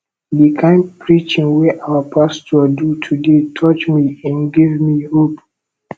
the kin preaching wey our pastor do today touch me im give me hope